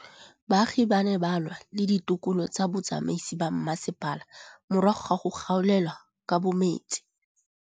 Baagi ba ne ba lwa le ditokolo tsa botsamaisi ba mmasepala morago ga go gaolelwa kabo metsi